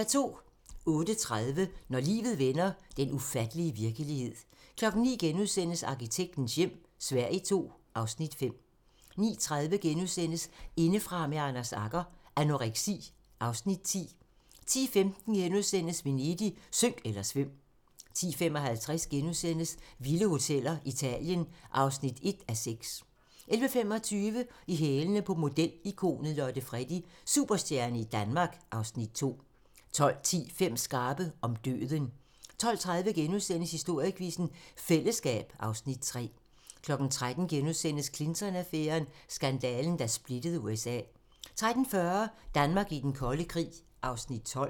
08:30: Når livet vender - den ufattelige virkelighed 09:00: Arkitektens hjem - Sverige II (Afs. 5)* 09:30: Indefra med Anders Agger - Anoreksi (Afs. 10)* 10:15: Venedig - synk eller svøm! * 10:55: Vilde hoteller - Italien (1:6)* 11:25: I hælene på modeikonet Lotte Freddie: Superstjerne i Danmark (Afs. 2) 12:10: Fem skarpe: Om døden 12:30: Historiequizzen: Fællesskab (Afs. 3)* 13:00: Clinton-affæren: Skandalen, der splittede USA * 13:40: Danmark i den kolde krig (Afs. 12)